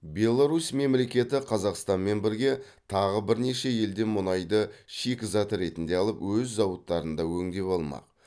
беларусь мемлекеті қазақстанмен бірге тағы бірнеше елден мұнайды шикізат ретінде алып өз зауыттарында өңдеп алмақ